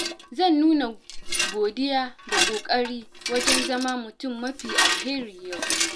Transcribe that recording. Zan nuna godiya da ƙoƙari wajen zama mutum mafi alheri yau.